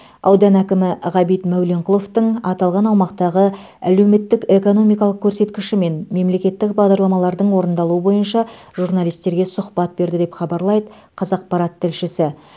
аудан әкімі ғабит мәуленқұловтың аталған аумақтағы әлеуметтік экономикалық көрсеткіші мен мемлекеттік бағдарламалардың орындалуы бойынша журналистерге сұхбат берді деп хабарлайды қазақпарат тілшісі